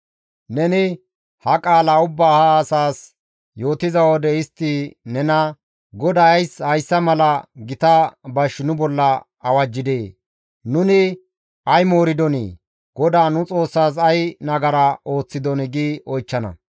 «Neni ha qaala ubbaa ha asas yootiza wode istti nena, ‹GODAY ays hayssa mala gita bash nu bolla awajjidee? Nuni ay mooridonii? GODAA nu Xoossaas ay nagara ooththidonii?› gi oychchana.